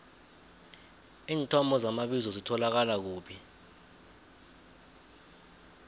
iinthomo zamabizo zitholakala kuphi